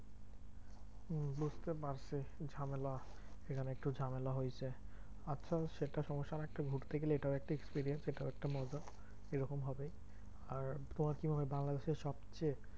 বুঝতে পারছি একটু ঝামেলা সেখানে একটু ঝামেলা হয়েছে। আচ্ছা সেটা সমস্যা না একটু ঘুরতে গেলে এটাও একটা experience এটাও একটা মজা এরকম হবে। আর তোমার কি মনে হয়, বাংলাদেশের সবচেয়ে